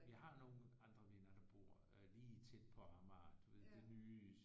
Vi har nogle andre venner der bor lige tæt på Amager du ved det nye